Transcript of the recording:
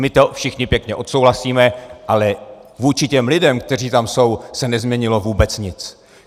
My to všichni pěkně odsouhlasíme, ale vůči těm lidem, kteří tam jsou, se nezměnilo vůbec nic.